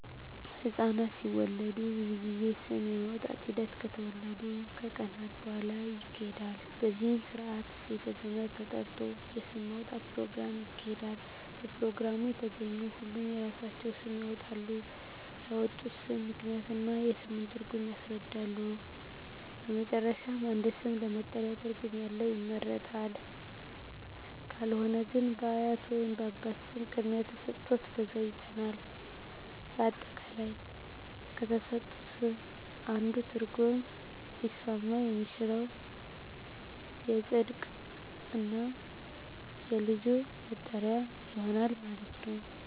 ህፃናት ሲወለዱ ብዙ ጊዜ ስም የማውጣት ሒደት ከተወለዱ ከቀናት በሁዋላ ይካሄዳል በዚህም ስርአት ቤተ ዘመድ ተጠርቶ የስም ማውጣት ኘሮግራም ይካሄዳል በፕሮግራሙ የተገኙ ሁሉም የራሳቸውን ስም ያወጣሉ ያወጡትንም ስም ምክንያት እና የስሙን ትርጉም ያስረዳሉ በመጨረሻም አንድ ስም ለመጠሪያ ትርጉም ያለው ይመረጣል ካልሆነ ግን በአያት ወይንም በአባት ስም ቅድሚያ ተሠጥቶት በዛ ይጠራል። አጠቃላይ ከተሠጡት ስም አንዱ ትርጉም ሊስማማ የሚችለው ይፀድቅ እና የልጁ መጠሪያ ይሆናል ማለት ነው።